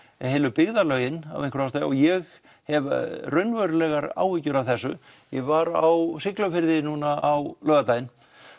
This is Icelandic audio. heilu byggðarlögin af einhverjum ástæðum og ég hef raunverulegar áhyggjur af þessu ég var á Siglufirði núna á laugardaginn